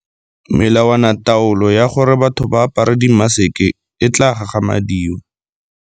Melawanataolo ya gore batho ba apare dimaseke e tla gagamadiwa.